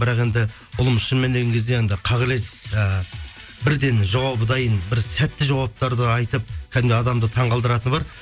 бірақ енді ұлым келген кезде анандай қағелес ііі бірден жауабы дайын бір сәтті жауаптарды айтып кәдімгі адамды таңғалдыратыны бар